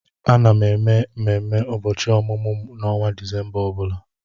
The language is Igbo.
Ana m eme ememe ụbọchị ọmụmụ m n'ọnwa Disemba ọ bụla.